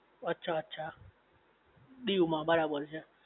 અચ્છા અચ્છા દીવ માં બરાબર છે